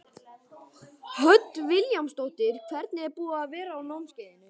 Hödd Vilhjálmsdóttir: Hvernig er búið að vera á námskeiðinu?